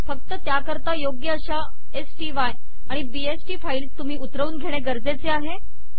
फक्त त्याकरता योग्य अश्या स्टाय आणि बीएसटी फाईल्स तुम्ही उतरवून घेणे गरजेचे आहे